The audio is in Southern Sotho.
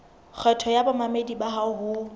kgetho ya bamamedi bao ho